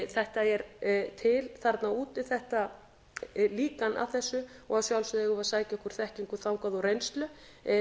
þetta er til þarna úti líkan af þessu og að sjálfsögðu eigum við að sækja okkur þekkingu þangað og reynslu til